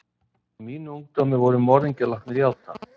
Í mínu ungdæmi voru morðingjar látnir játa.